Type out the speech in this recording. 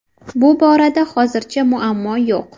Bu borada hozircha muammo yo‘q.